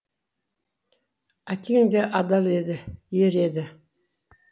әкең де адал еді ер еді